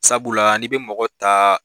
Sabula n'i bɛ mɔgɔ ta